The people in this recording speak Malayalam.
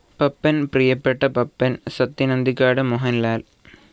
പപ്പൻ പ്രിയപ്പെട്ട പപ്പൻ സത്യൻ അന്തിക്കാട് മോഹൻാൽ